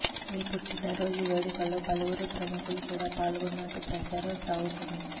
ఈ పుట్టిన రోజు వేడుకల్లో పలువురు ప్రముఖులు కూడ పాల్గొన్నట్టుగా ప్రచారం సాగుతోంది